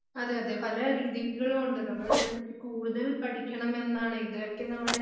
അതെ അതെ പല രീതികളും ഒണ്ട്. നമ്മൾ ഇതിനെപ്പറ്റി കൂടുതൽ പഠിക്കണമെന്നാണ്